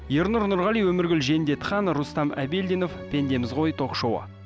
ернұр нұрғали өміргүл жендетхан рустам әбелдинов пендеміз ғой ток шоуы